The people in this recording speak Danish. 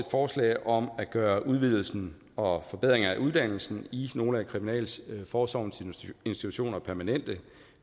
forslag om at gøre udvidelsen og forbedringen af uddannelsen i nogle af kriminalforsorgens institutioner permanente